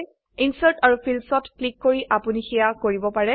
insert আৰু fields ত click কৰি আপোনি সেয়া কৰিব পাৰে